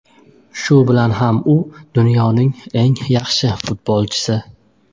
Shu bilan ham u dunyoning eng yaxshi futbolchisi.